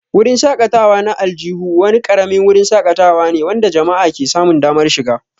Wurin shakatawa na aljihu wani ƙaramin wurin shakatawa ne wanda jama'a ke samun damar shiga.